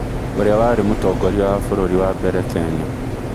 ũrĩa warĩ mũtongoria wa bũrũri wa mbere Kenya